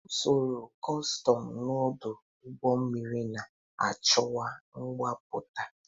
Usoro kọstọm n'ọdụ ụgbọ mmiri na-achịkwa mbubata.